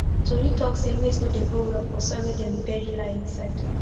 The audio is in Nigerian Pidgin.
tori talk say maize no dey grow well for soil wey dem bury lie inside